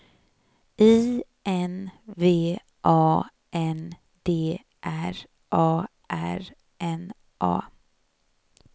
I N V A N D R A R N A